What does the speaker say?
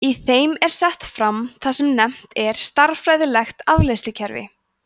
í þeim er sett fram það sem nefnt er stærðfræðilegt afleiðslukerfi